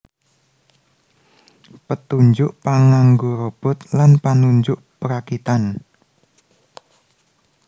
Petunjuk panganggo Robot lan panunjuk perakitan